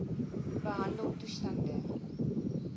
behandeltoestande